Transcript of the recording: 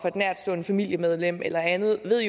nærtstående familiemedlem eller andet jo ved